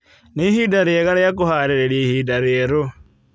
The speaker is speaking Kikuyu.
Nĩ ihinda rĩega rĩa kwĩharĩrĩria ihinda rĩerũ.